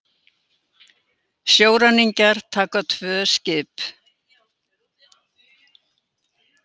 Sjóræningjar taka tvö skip